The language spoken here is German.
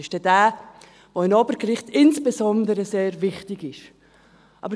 Es ist der, welcher insbesondere beim Obergericht sehr wichtig ist.